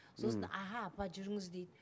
сосын аха апа жүріңіз дейді